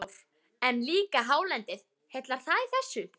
Kristján Már: En líka hálendið, heillar það í þessu?